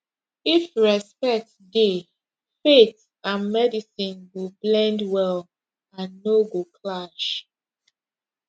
if respect dey faith and medicine go blend well and no go clash